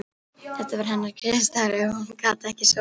Þetta var hennar griðastaður ef hún gat ekki sofið.